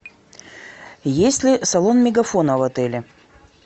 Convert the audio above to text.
есть ли салон мегафона в отеле